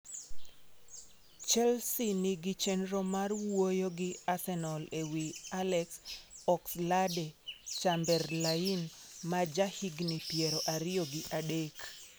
Chelsea nigi chenro mar wuoyo gi Arsenal ewi Alex Oxlade-Chamberlain, ma jahigni piero ariyo gi adek.